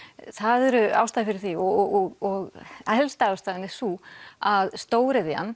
það eru ástæður fyrir því og helsta ástæðan er sú að stóriðjan